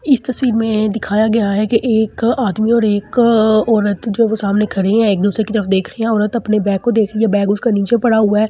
इस तस्वीर में दिखाया गया है कि एक आदमी और एक औरत जो है वो सामने खड़े हैं एक दूसरे की तरफ देख रहे हैं औरत अपने बैग को देख रही है बैग उसका नीचे पड़ा हुआ है।